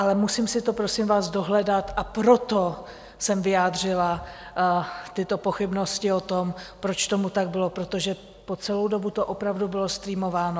Ale musím si to, prosím vás, dohledat, a proto jsem vyjádřila tyto pochybnosti o tom, proč tomu tak bylo, protože po celou dobu to opravdu bylo streamováno.